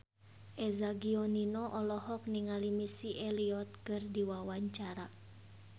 Eza Gionino olohok ningali Missy Elliott keur diwawancara